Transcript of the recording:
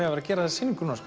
að vera að gera þessa sýningu